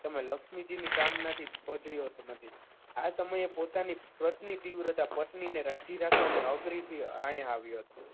તમે લક્ષ્મીજીની કામનાથી આ સમયે પોતાની પતરી પત્ની તીવ્રતા પત્નીને રાજી રાખવા અઘરીથી અહીંયા આવ્યો હતો.